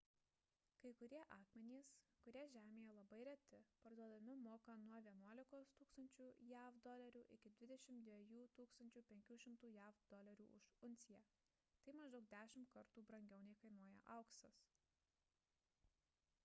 kai kurie akmenys kurie žemėje labai reti parduodami mokant nuo 11 000 usd iki 22 500 usd už unciją tai maždaug dešimt kartų brangiau nei kainuoja auksas